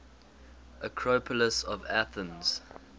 acropolis of athens